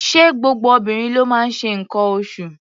Ṣé gbogbo obìnrin ló máa ń ṣe nǹkan oṣụ̀?